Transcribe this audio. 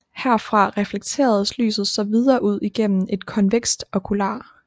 Herfra reflekteredes lyset så videre ud igennem et konvekst okular